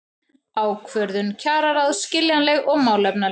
Ákvörðun kjararáðs skiljanleg og málefnaleg